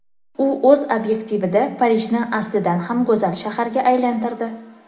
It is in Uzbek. U o‘z obyektivida Parijni aslidan ham go‘zal shaharga aylantirdi.